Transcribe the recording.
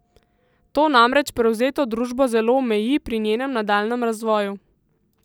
To namreč prevzeto družbo zelo omeji pri njenem nadaljnjem razvoju.